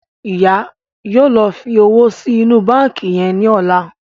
Ìyá yóò ló fí òwò sí inú bánkì yén ní ọlá.